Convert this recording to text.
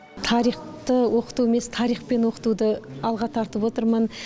тарихты оқыту емес тарихпен оқытуды алға тартып отырмын